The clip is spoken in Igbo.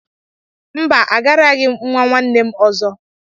Mba, agaraghị m nwa nwanne m ọzọ.